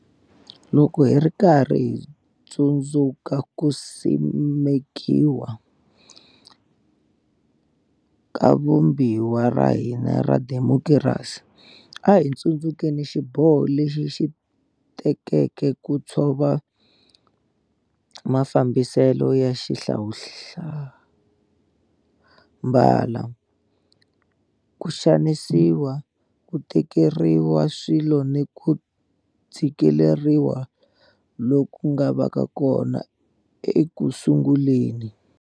Loko hi ri karhi hi tsundzu ka ku simekiwa ka Vumbiwa ra hina ra xidemokirasi, a hi tsundzukeni xiboho lexi hi xi tekeke ku tshova mafambi selo ya xihlawulambala, ku xanisiwa, ku tekeriwa swilo ni ku tshikeleriwa loku nga va kona ekusunguleni.